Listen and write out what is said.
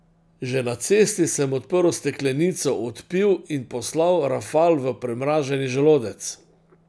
Že na cesti sem odprl steklenico, odpil in poslal rafal v premraženi želodec.